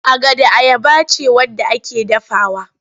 Agada ayaba ce wadda ake dafawa.